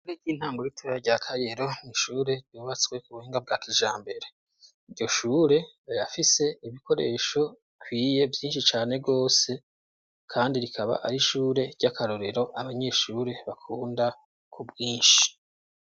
Ishure ry'intango ritebera rya kayero nishure ryubatswe ku buhinga bwa kijambere iryo shure rikaba rifise ibikoresho bikwiye vyinshi cane rwose kandi rikaba ari ishure ry'akarorero abanyeshure bakunda ku bwinshi.